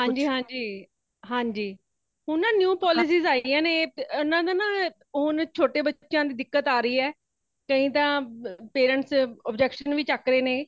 ਹਾਂਜੀ ,ਹਾਂਜੀ |ਹਾਂਜੀ ਹੁਣ ਨਾ new policies ਆਈ ਹੈ ,ਉਨ੍ਹਾਂ ਦਾ ਨਾ ਹੁਣ ਛੋਟੇ ਬੱਚਿਆਂ ਦੇ ਦਿਕੱਤ ਆ ਰਹੀ ਹੈ | ਕਈ ਤਾ parents objection ਵੀ ਚੱਕ ਰਹੇ ਨੇ ,